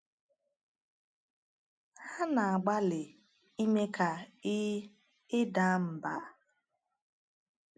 Hà na-agbalị ime ka ị ị daa mbà.